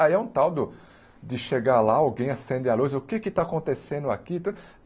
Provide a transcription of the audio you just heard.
Aí é um tal do de chegar lá, alguém acende a luz, o que é que está acontecendo aqui?